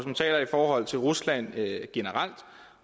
man taler i forhold til rusland generelt